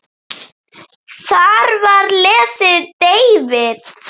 Þar var lesinn David